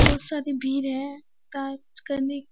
बहुत सारे भीड़ है। काज करने --